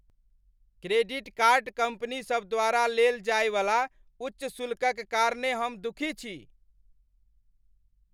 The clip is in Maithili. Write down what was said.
क्रेडिट कार्ड कंपनीसभ द्वारा लेल जायवला उच्च शुल्कक कारणेँ हम दुखी छी।